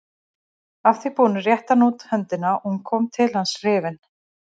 Að því búnu rétti hann út höndina og hún kom til hans hrifin.